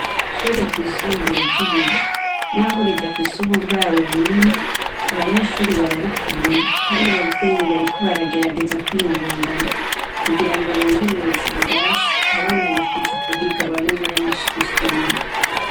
Ishure ryisumbuye ry'i Buye naho ridafise uburaro bunini abanyeshure bararikunda kandi abavyeyi bariko baragerageza kwiyungunganya kugira ngo bongerereze ibirasi abana bifuza kuhiga babe benshi gusumba.